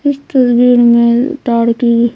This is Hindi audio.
इस तस्वीर में ताड़ की--